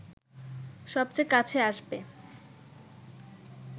সবচেয়ে কাছে আসবে